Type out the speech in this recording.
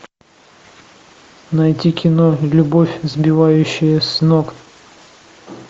найти кино любовь сбивающая с ног